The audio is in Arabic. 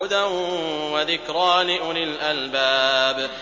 هُدًى وَذِكْرَىٰ لِأُولِي الْأَلْبَابِ